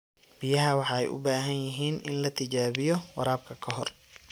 Biyaha waxay u baahan yihiin in la tijaabiyo waraabka ka hor.